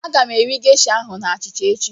Aga m eri gesha ahụ na achịcha echi.